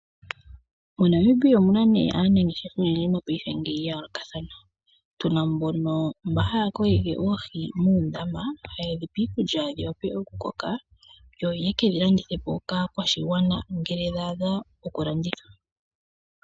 Mo Namibia omuna nee aanangeshefa oyendji mopaife ngeyi ya yoolokathana, tuna mbono, mba haya kokeke oohi muundama haye dhi pe iikulya dhi wape okukoka yo yekedhi landithe po kaakwashigwana ngele dha adha okulanditha.